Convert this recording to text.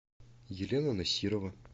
елена насирова